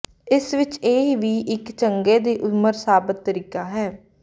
ਇਸ ਵਿਚ ਇਹ ਵੀ ਇੱਕ ਚੰਗਾ ਦੀ ਉਮਰ ਸਾਬਤ ਤਰੀਕਾ ਹੈ